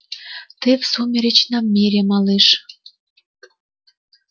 ты в сумеречном мире малыш